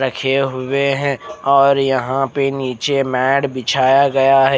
रखे हुए ई और यहाँ पे निचे मेट बिछाया गया है।